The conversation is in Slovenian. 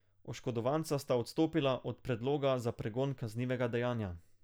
Oškodovanca sta odstopila od predloga za pregon kaznivega dejanja.